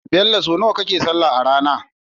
Bello so naya kake sallah arAna?